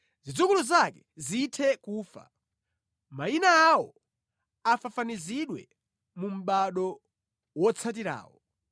Zidzukulu zake zithe nʼkufa, mayina awo afafanizidwe mu mʼbado wotsatirawo.